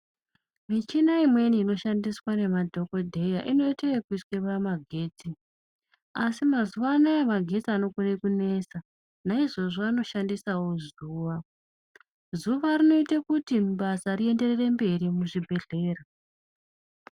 Michina imweni inoshandiswa ngemadhokodheya inoitwa ekuiswa pamagetsi, asi mazuwanaya magetsi anokona kunesa naizvozvo anokona kushandiswawo zuwa, zuva rinoita kuti basa rienderere mberi remuzvibhedhlera.